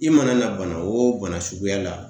I mana na bana wo bana suguya la